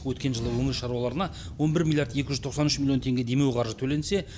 өткен жылы өңір шаруаларына он бір миллиард екі жүз тоқсан үш миллион теңге демеуқаржы төленсе